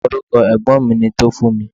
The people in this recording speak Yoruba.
Orúkọ ẹ̀gbọ́n mi ni Tofunmi.